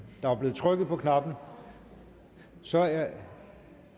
der var blevet trykket på knappen så er